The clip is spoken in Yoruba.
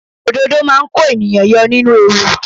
Òdodo máa kó ènìyàn yọ nínú ewu.